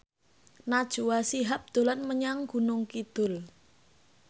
Najwa Shihab dolan menyang Gunung Kidul